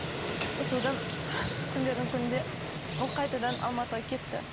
содан күндердің күнінде ол қайтадан алматыға кетті